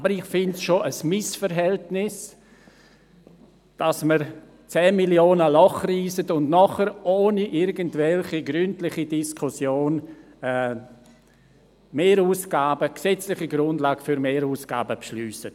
Aber ich empfinde es als Missverhältnis, dass man ein Loch von 10 Mio. Franken reisst und danach ohne weitere gründliche Diskussion gesetzliche Grundlagen für Mehrausgaben beschliesst.